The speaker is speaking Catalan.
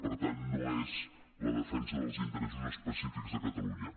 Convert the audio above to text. per tant no és la defensa dels interessos específics de catalunya